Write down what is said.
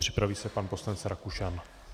Připraví se pan poslanec Rakušan.